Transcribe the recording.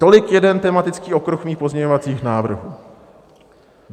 Tolik jeden tematický okruh mých pozměňovacích návrhů.